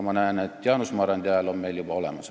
Ma näen, et Jaanus Marrandi hääl on meil juba olemas.